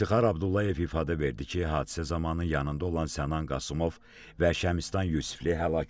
İftixar Abdullayev ifadə verdi ki, hadisə zamanı yanında olan Sənan Qasımov və Şəmistnan Yusifli həlak olub.